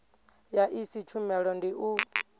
ya iyi tshumelo ndi u